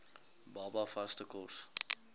baba vaste kos